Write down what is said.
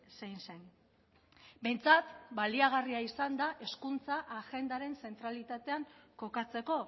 zein zen behintzat baliagarria izan da hezkuntza agendaren zentralitatean kokatzeko